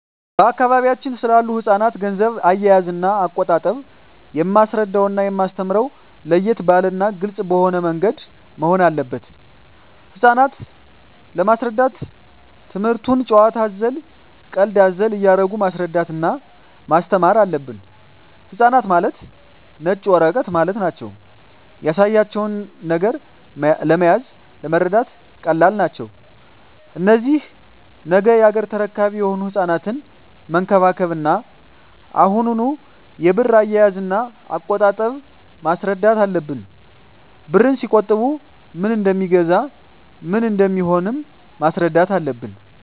በአካባቢያችን ስላሉ ህጻናት ገንዘብ አያያዝና አቆጣጠብ የማስረዳውና የማስተምረው ለየት ባለና ግልጽ በሆነ ምንገድ መሆን አለበት ህጻናት ለመሰረዳት ትምክህቱን ጭዋታ አዘል ቀልድ አዘል እያረጉ ማስረዳት እና ማስተማር አለብን ህጻናት ማለት ነጭ ወረቀት ማለት ናቸው ያሳያቸው ነገር መያዝ ለመረዳት ቀላል ናቸው እነዚህ ነገ ያገሬ ተረካቢ የሆኑ ህጻናትን መንከባከብ እና አሁኑ የብር አያያዥ እና አቆጣጠብ ማስረዳት አለብን ብርን ሲቆጥቡ ምን እደሜገዛ ምን እንደሚሆኑም ማስረዳት አለብን